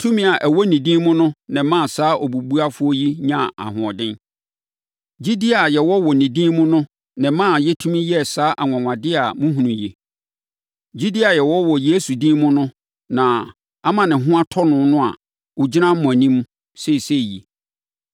Tumi a ɛwɔ ne din mu no na ɛmaa saa obubuafoɔ yi nyaa ahoɔden. Gyidie a yɛwɔ wɔ ne din mu no na ɛmaa yɛtumi yɛɛ saa anwanwadeɛ a mohunu yi. Gyidie a yɛwɔ wɔ Yesu din mu no na ama ne ho atɔ no a ɔgyina mo anim seesei yi.